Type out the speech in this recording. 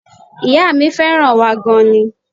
Ìyá mi fẹ́ràn wa gan an ni